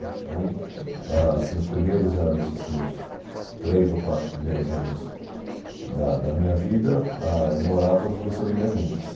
Então aham ah se os primeiros anos assim os três ou quatro primeiros anos da da minha vida ah moravam as duas famílias juntas.